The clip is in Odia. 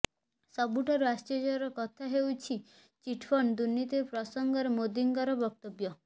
ସବୁଠୁ ଆଶ୍ଚର୍ୟର କଥା ହେଉଛି ଚିଟ ଫଣ୍ଡ ଦୁର୍ନୀତି ପ୍ରସଙ୍ଗରେ ମୋଦୀଙ୍କ ବକ୍ତବ୍ୟ